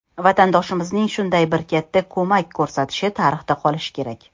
Vatandoshimizning shunday bir katta ko‘mak ko‘rsatishi tarixda qolishi kerak.